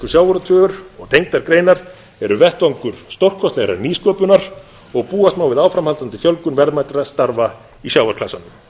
sjávarútvegur og tengdar greinar eru vettvangur stórkostlegrar nýsköpunar og búast má við áframhaldandi fjölgun verðmætra starfa í sjávarklasanum